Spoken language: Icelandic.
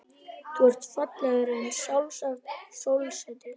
Þú ert fallegri en sjálft sólsetrið.